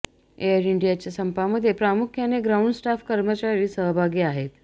air इंडियाच्या संपामध्ये प्रामुख्याने ग्राउंड स्टाफ कर्मचारी सहभागी आहेत